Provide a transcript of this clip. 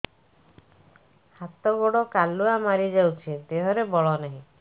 ହାତ ଗୋଡ଼ କାଲୁଆ ମାରି ଯାଉଛି ଦେହରେ ବଳ ନାହିଁ